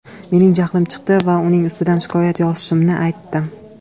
Mening jahlim chiqdi va uning ustidan shikoyat yozishimni aytdim”.